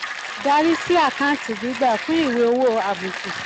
dr sí àkáǹtì gbígbà fún ìwé um owó àbùkù